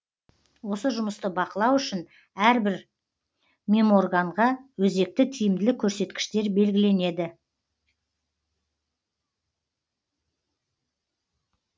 осы жұмысты бақылау үшін әрбір меморганға өзекті тиімділік көрсеткіштер белгіленеді